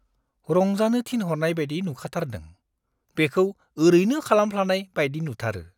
रंजानो थिनहरनाय बायदि नुखाथारदों, बेखौ ओरैनो खालामफ्लानाय बायदि नुथारो!